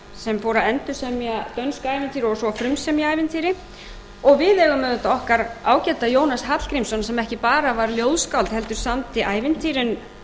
fór að endursemja dönsk ævintýri og svo að frumsemja ævintýri og við eigum auðvitað okkar ágæta jónas hallgrímsson sem ekki bara var ljóðskáld heldur samdi ævintýrin